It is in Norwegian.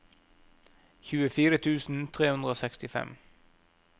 tjuefire tusen tre hundre og sekstifem